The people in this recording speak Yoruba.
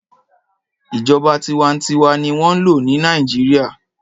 Ìjọba tinwatinwa ni wọ́n n lò ní Nàìjíríà.